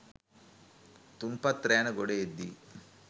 තුන්පත් රෑන ගොඩ එද්දී